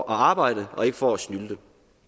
arbejde og ikke for at snylte